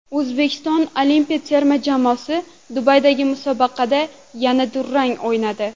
O‘zbekiston olimpiya terma jamoasi Dubaydagi musobaqada yana durang o‘ynadi .